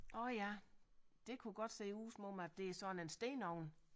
Orh ja det kunne godt se ud som om at det er sådan en stenovn